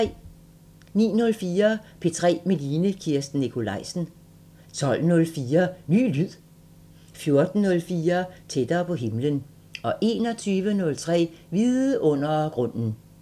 09:04: P3 med Line Kirsten Nikolajsen 12:04: Ny lyd 15:04: Tættere på himlen 21:03: Vidundergrunden